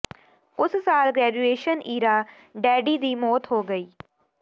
ਉਸ ਸਾਲ ਗ੍ਰੈਜੂਏਸ਼ਨ ਈਰਾ ਡੈਡੀ ਦੀ ਮੌਤ ਹੋ ਗਈ